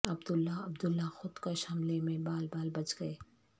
عبداللہ عبداللہ خودکش حملے میں بال بال بچ گئے